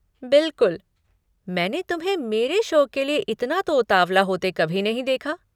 बिलकुल, मैंने तुम्हें मेरे शो के लिए इतना तो उतावला होते कभी नहीं देखा!